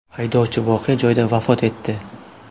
Haydovchi voqea joyida vafot etdi.